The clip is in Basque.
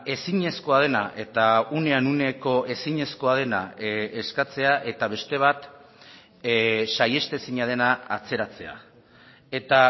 ezinezkoa dena eta unean uneko ezinezkoa dena eskatzea eta beste bat saihestezina dena atzeratzea eta